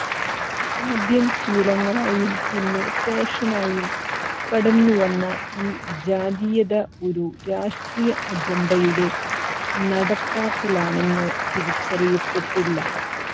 ആദ്യം ശീലങ്ങളായും പിന്നെ ഫാഷനായും കടന്നുവന്ന ഈ ജാതീയത ഒരു രാഷ്ട്രീയ അജണ്ടയുടെ നടപ്പാക്കലാണെന്ന് തിരിച്ചറിയപ്പെട്ടില്ല